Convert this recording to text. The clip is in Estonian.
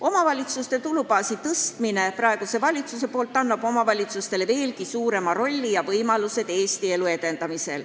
Omavalitsuste tulubaasi suurendamine praeguse valitsuse poolt annab omavalitsustele veelgi tähtsama rolli ja paremad võimalused Eesti elu edendada.